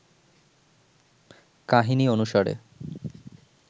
কাহিনী অনুসারে